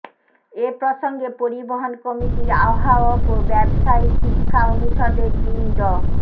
এ প্রসঙ্গে পরিবহন কমিটির আহ্বায়ক ও ব্যবসায় শিক্ষা অনুষদের ডিন ড